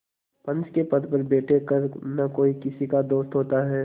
पंच के पद पर बैठ कर न कोई किसी का दोस्त होता है